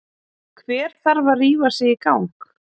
Hver þarf að rífa sig í gang?